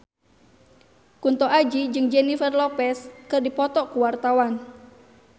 Kunto Aji jeung Jennifer Lopez keur dipoto ku wartawan